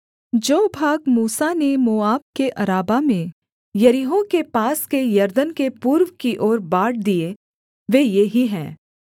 जो भाग मूसा ने मोआब के अराबा में यरीहो के पास के यरदन के पूर्व की ओर बाँट दिए वे ये ही हैं